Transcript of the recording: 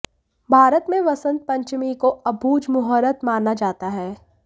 भारत में वसंत पंचमी को अबूझ मुहूर्त माना जाता है